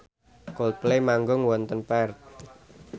Coldplay manggung wonten Perth